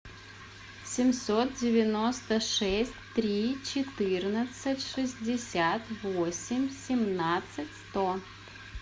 семьсот девяносто шесть три четырнадцать шестьдесят восемь семнадцать сто